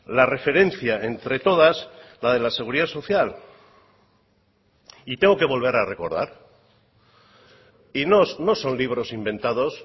la referencia entre todas la de la seguridad social y tengo que volver a recordar y no son libros inventados